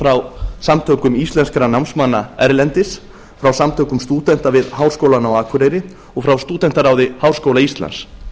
frá samtökum íslenskra námsmanna erlendis frá samtökum stúdenta við háskólann á akureyri og frá stúdentaráði háskóla íslands